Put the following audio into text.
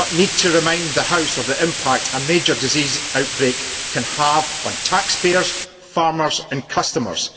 I do not need to remind the House of the impact a major disease outbreak can have on taxpayers, farmers and customers.